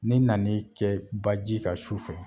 N'i nana kɛ baji ka sufɛ